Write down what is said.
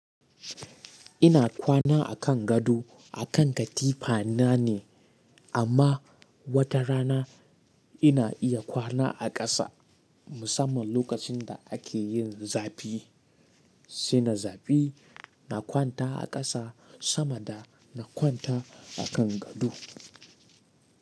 Ina kwana a kan gado a kan katifa nane amma wata rana ina iya kwana a ƙasa musamman lokacin da ake yin zafi. Sai na zafi na kwanta a ƙasa sama da na kwanta a kan gado.